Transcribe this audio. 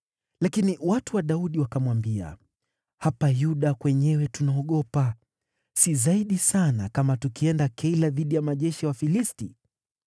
Lakini watu wa Daudi wakamwambia, “Hapa Yuda kwenyewe tunaogopa. Si zaidi sana, kama tukienda Keila dhidi ya majeshi ya Wafilisti!”